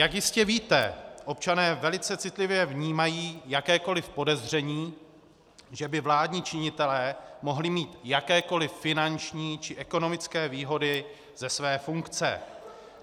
Jak jistě víte občané velice citlivě vnímají jakékoliv podezření, že by vládní činitelé mohli mít jakékoliv finanční či ekonomické výhody ze své funkce.